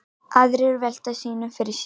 Aðrir velta sínu fyrir sér.